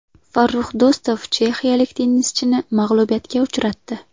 Farrux Do‘stov chexiyalik tennischini mag‘lubiyatga uchratdi.